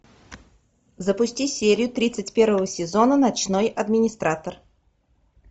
запусти серию тридцать первого сезона ночной администратор